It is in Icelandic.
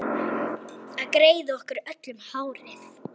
Að greiða okkur öllum hárið.